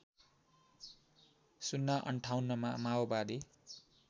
०५८ मा माओवादी